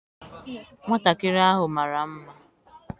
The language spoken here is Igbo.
Nwatakịrị ahụ mara mma.